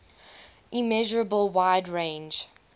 immeasurable wide range